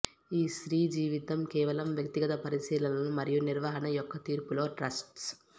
ఈ స్త్రీ జీవితం కేవలం వ్యక్తిగత పరిశీలనలు మరియు నిర్వహణ యొక్క తీర్పులో ట్రస్ట్స్